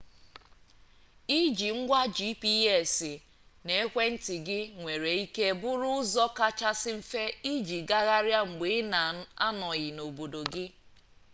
iji ngwa gps n'ekwentị gị nwere ike bụrụ ụzọ kachasị mfe iji gagharịa mgbe ị na-anọghị n'obodo gị